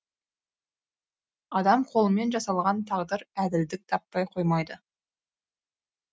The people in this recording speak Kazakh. адам қолымен жасалған тағдыр әділдік таппай қоймайды